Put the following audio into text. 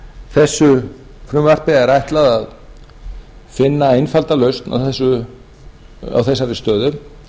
þessu frumvarpi er ætlað að finna einfalda lausn á þessari stöðu